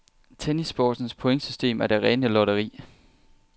Tennissportens pointsystem er det rene lotteri.